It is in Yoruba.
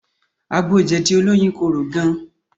Àgbo jẹ̀dí olóyin korò gan